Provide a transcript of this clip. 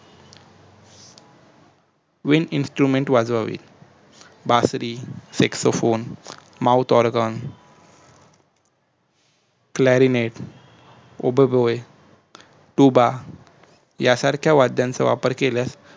wininstrument वाजवावी बासरी xexophonemouth organ crarinefoboboybuba यासारख्या वाद्यांचा वापर केल्यास